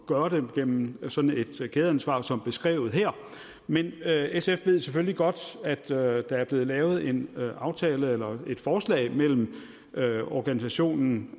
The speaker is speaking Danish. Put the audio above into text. gøre det igennem sådan et kædeansvar som beskrevet her men sf ved selvfølgelig godt at der er der er blevet lavet en aftale eller et forslag af organisationen